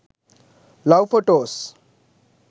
love photos